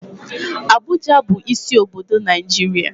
Abuja bụ isi obodo Naijiria.